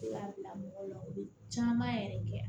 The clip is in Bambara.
I b'a bila mɔgɔw la u bɛ caman yɛrɛ de kɛ